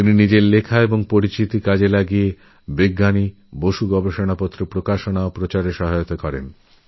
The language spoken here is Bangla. তাঁরলেখনী ও বিভিন্ন সম্মেলনের মাধ্যমে শ্রী বসুর যাবতীয় পরীক্ষানিরীক্ষার প্রকাশনাএবং প্রচার দুটিতেই খুব সাহায্য করেন